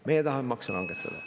Meie tahame makse langetada.